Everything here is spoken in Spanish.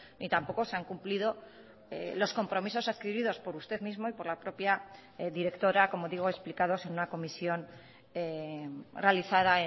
ni tampoco se han cumplido los compromisos adquiridos por usted mismo y por la propia directora como digo explicados en una comisión realizada